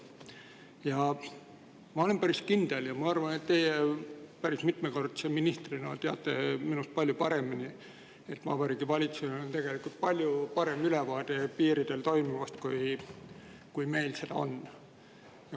Ma olen päris kindel, ja ma arvan, et teie mitmekordse ministrina teate minust paremini, et Vabariigi Valitsusel on tegelikult palju parem ülevaade piiridel toimuvast, kui meil seda on.